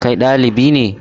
Kai ɗalibi ne?